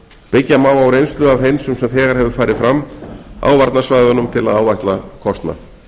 byggja má á reynslu af hreinsun sem þegar hefur farið fram á varnarsvæðunum til að áætla kostnað